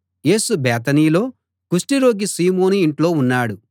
యేసు బేతనీలో కుష్టురోగి సీమోను ఇంట్లో ఉన్నాడు